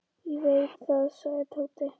Ég veit það, sagði Tóti.